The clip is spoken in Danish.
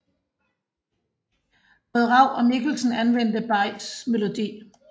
Både Raug og Michelsen anvendte Bays melodi